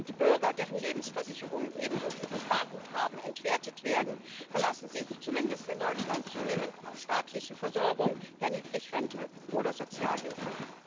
Die Bürger, deren Lebensversicherungen ebenso wie ihre Sparguthaben entwertet werden, verlassen sich zumindest in Deutschland zunehmend auf staatliche Versorgung, ja Niedrigrente oder Sozialhilfe.